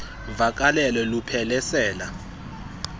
vakalelo luphele sela